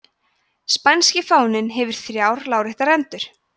spænski fáninn hefur þrjár láréttar rendur